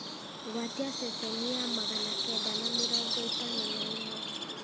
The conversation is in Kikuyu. gwatia ceceni ya magana kenda ma mĩrongo ĩtano na ĩmwe